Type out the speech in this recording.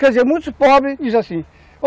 Quer dizer, muitos pobres dizem assim.